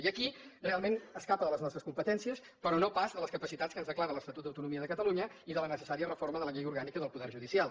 i aquí realment escapa de les nostres competències però no pas de les capacitats que ens declara l’estatut d’autonomia de catalunya i de la necessària reforma de la llei orgànica del poder judicial